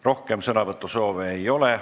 Rohkem sõnavõtusoove ei ole.